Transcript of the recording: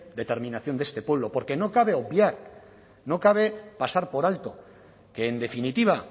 determinación de este pueblo porque no cabe obviar no cabe pasar por alto que en definitiva